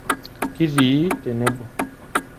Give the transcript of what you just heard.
Kitii tenebo.